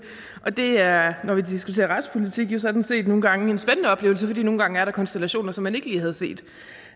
og det er når vi diskuterer retspolitik jo sådan set nogle gange en spændende oplevelse for nogle gange er der konstellationer som man ikke lige havde set